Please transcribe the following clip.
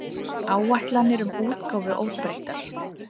Áætlanir um útgáfu óbreyttar